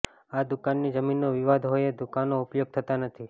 આ દુકાનની જમીનનો વિવાદ હોય એ દુકાનો ઉપયોગ થતા નથી